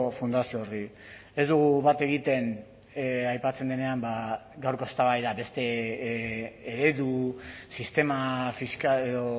fundazio horri ez dugu bat egiten aipatzen denean gaurko eztabaida beste eredu sistema fiskal edo